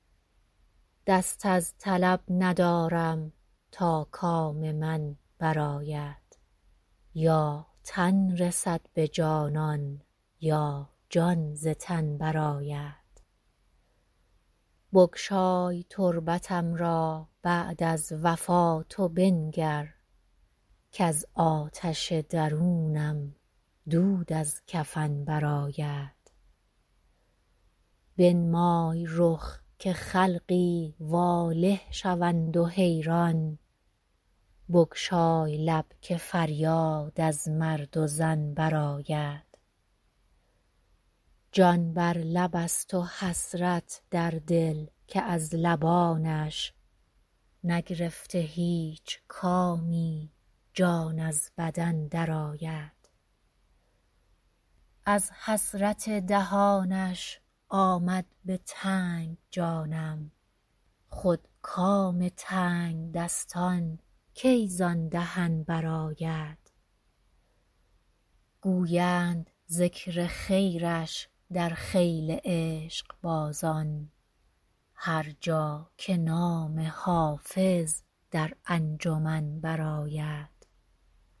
دست از طلب ندارم تا کام من برآید یا تن رسد به جانان یا جان ز تن برآید بگشای تربتم را بعد از وفات و بنگر کز آتش درونم دود از کفن برآید بنمای رخ که خلقی واله شوند و حیران بگشای لب که فریاد از مرد و زن برآید جان بر لب است و حسرت در دل که از لبانش نگرفته هیچ کامی جان از بدن برآید از حسرت دهانش آمد به تنگ جانم خود کام تنگدستان کی زان دهن برآید گویند ذکر خیرش در خیل عشقبازان هر جا که نام حافظ در انجمن برآید